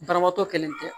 Banabaatɔ kɛlen tɛ